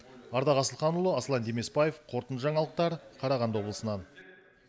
ардақ асылханұлы аслан демесбаев қорытынды аңалықтар қарағанды облысынан